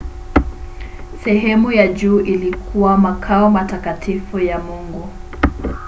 sehemu ya juu ilikuwa makao matakatifu ya mungu